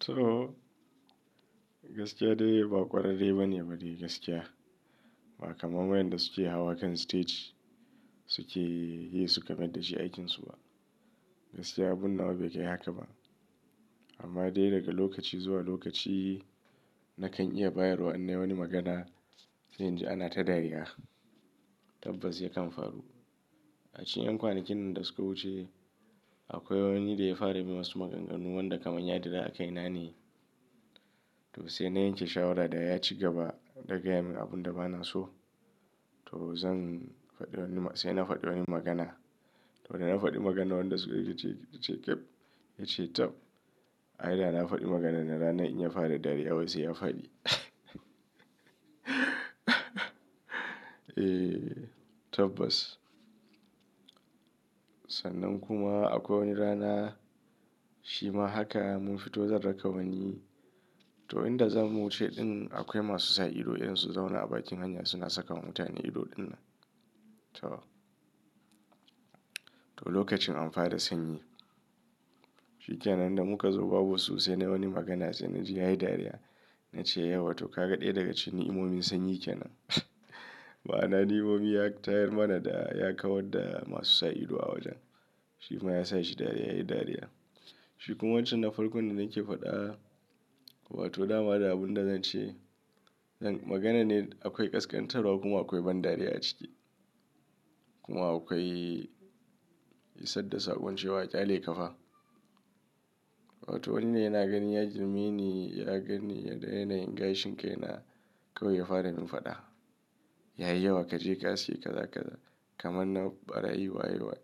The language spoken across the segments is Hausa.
To gaskiya dai ba ƙwararre ba ne ba dai gaskiya. Ba kamar wayanda suke hawa kan stage suke yi su ka mayar da shi aikinsu ba. Gaskiya abun nawa bai kai haka ba. Amma dai daga lokaci zuwa lokaci nakan iya bayarwa in nayi wani magana, sai inji ana ta dariya. Tabbas yakan faru. A cikin yan kwanakin nan da suka wuce, akwai wani da ya fara yi mun wasu maganganu wanda kaman ya ɗira akai na ne. To sai na yanke shawara da ya ci gaba zan gaya mai abunda ba na so. To zan faɗi wani ma-- sai na faɗi wani magana. To da na faɗi magana wanda suka ce, ce ƙeb, ya ce tab. Ai da na faɗi maganan nan, ranan in ya fara dariya, sai ya faɗi. Eh tabbas. Sannan kuma akwai wani rana shi ma haka mun fito zan raka wani. To inda zamu wuce ɗin akwai masu sa ido in su zauna a bakin hanya suna saka mutane ido dinnan. To, to lokacin an fara sanyi. Shi kenan da muka zo babu su sai na yi wani magana sai na ji ya yi dariya. Na ce, "Yauwa to ka ga ɗaya daga cikin ni'imomin sanyi kenan." Ma'ana ni'imomi ya tayar mana da ya kawar da masu sa ido a wajen. Shi kuma ya sanya shi dariya, ya yi dariya. Shi kuma wancan na farko da nake faɗa wato dama da abun da zan ce, magana ne akwai kaskantarwa kuma akwai ban dariya a ciki. Kuma akwai isar da saƙon cewa ƙyale ka fa. Wato wani yana ganin ya girme ni, ya ganni yaga yanayin gashin kaina, kawai ya fara mun faɗa Yayi yawa kaje ka aske, ƙaza ƙaza kaman na ɓarayi waye wai.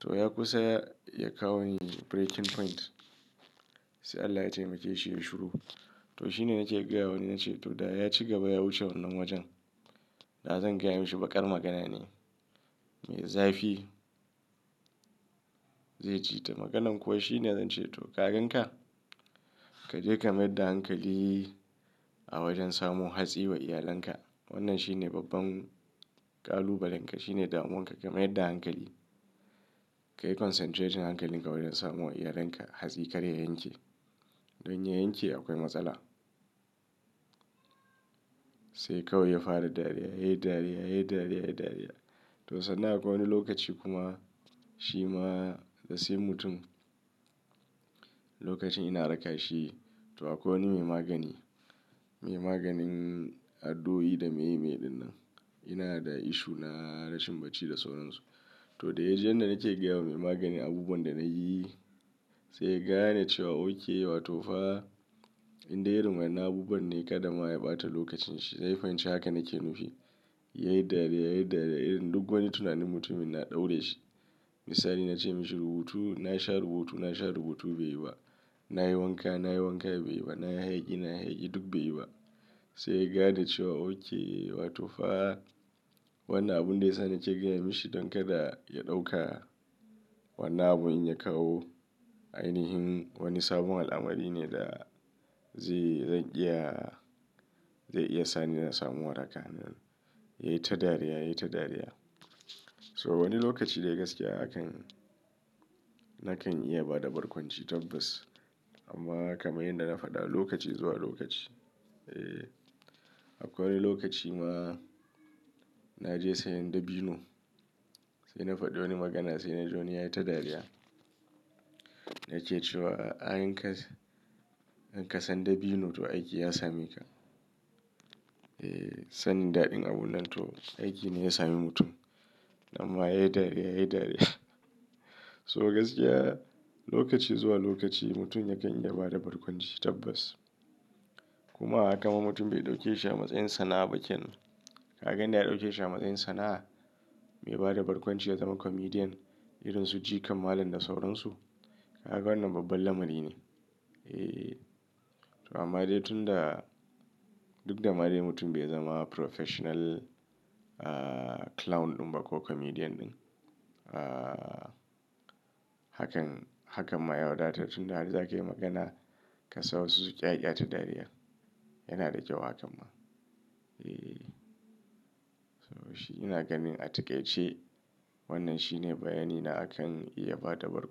To ya kusa ya, ya kawo ni breaking point. Sai Allah ya taimake shi ya shuru. To shi ne nake gaya wa ni na ce to da ya ci gaba ya wuce wannan wajen. Da zan gaya mashi bakar magana ne mai zafi zai ji ta. Maganan kuwa shi ne zan ce to ka gan ka? Kaje ka mayar da hankali a wajen samo hatsi wa iyalanka. Wannan shi ne babban ƙalubalen ka. Shi ne damuwanka ka mayar da hankali. Kayi concentrating hankalinka wajen samo wa iyalanka hatsi kar ya yanke. Don ya yanke akwai matsala. Sai kawai ya fara dariya, ya yi dariya, ya yi dariya, ya yi dariya. To sannan akwai wani lokaci kuma shi ma sai mutum lokacin ina raka shi to akwai wani mai magani, mai maganin addu'o'i da meye meye dinnan. Ina da issue na rashin bacci da sauransu. To da ya je inda nake gaya wa mai magani abubuwan da nayi sai ya gane cewa, okay wato fa indai irin wadannan abubuwan ne, ƙadama ya ɓata lokacin shi. Na yi fahimci haka nake nufi. Ya yi dariya, ya yi dariya, irin duk wani tunanin mutum ina ɗaure shi. Misali na ce mashi rubutu, na sha rubutu, na sha rubutu bai yi ba. Na yi wanka, na yi wanka bai yi ba. Na yi hayaki, na yi hayaki duk bai yi ba. Sai ya gane cewa okay wato fa wannan abun da ya sa nake gaya mishi don kada ya ɗauka wannan abun in ya kawo ainihin wani sabon al'amari ne da zai, zan iya, zai iya sani na samu waraka. Ya yi ta dariya, ya yi ta dariya. So wani lokaci dai gaskiya hakan nakan iya bada barkwanci tabbas. Amma kamar yadda na faɗa lokaci zuwa lokaci, akwai wani lokaci ma na je sayan dabino. Sai na faɗi wani magana sai na ji wani ya yi ta dariya. Na ke cewa in ka, in ka san dabino to aiki ya sami ka. Sani daɗin abun nan to aiki ne ya sami mutum. Amma ya yi dariya, ya yi dariya. So gaskiya lokaci zuwa lokaci mutum yakan iya ba da barkwanci tabbas. Kuma kamar mutum bai ɗauke shi a matsayin sana'a ba kenan. Ka gani inda ya dauke shi a matsayin sana'a mai bada barkwanci ya zama comedian irin su Jikam Malam da sauransu. Kaga wannan babban lamari ne. To amma dai tunda duk da ma dai mutum bai zama professional clown ɗin ba ko comedian ɗin. Hakan, hakan ma ya wadatar tunda har zakayi magana ka sa wasu su ƙyaƙya ta dariya. Yana da kyau hakan ma. So shi ina ganin a takaice wannan shi ne bayani na akan iya bada barkwanci.